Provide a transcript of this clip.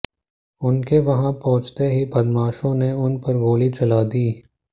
उनके वहां पहुंचते ही बदमाशों ने उन पर गोली चला दी